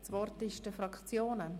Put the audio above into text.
Das Wort ist bei den Fraktionen.